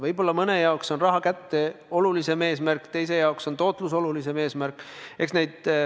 Võib-olla mõne jaoks on raha kätte olulisem eesmärk, teise jaoks on tootlus olulisem eesmärk.